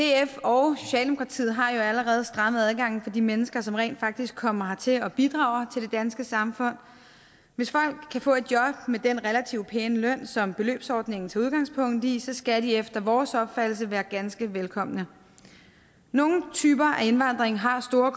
df og socialdemokratiet har jo allerede strammet adgangen for de mennesker som rent faktisk kommer hertil og bidrager til det danske samfund hvis folk kan få et job med den relativt pæne løn som beløbsordningen tager udgangspunkt i skal de efter vores opfattelse være ganske velkomne nogle typer af indvandring har store